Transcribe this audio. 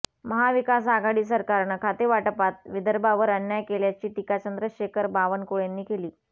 महाविकास आघाडी सरकारनं खातेवाटपात विदर्भावर अन्याय केल्याची टीका चंद्रशेखर बावनकुळेंनी केली